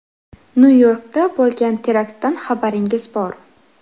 Nyu-Yorkda bo‘lgan teraktdan xabaringiz bor.